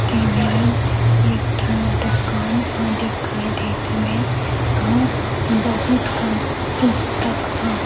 दे मरन एक ठन दुकान दिखाई देत हवे और बहुत का पुस्तक ह --